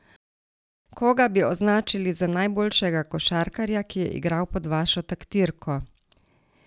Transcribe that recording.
Koga bi označili za najboljšega košarkarja, ki je igral pod vašo taktirko?